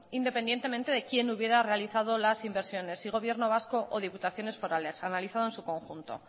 independientemente de quién hubiera realizado las inversiones si gobierno vasco o diputaciones forales analizado en su conjunto